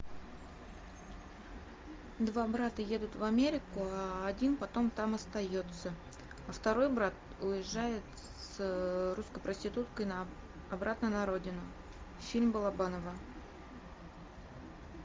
два брата едут в америка а один потом там остается а второй брат уезжает с русской проституткой обратно на родину фильм балабанова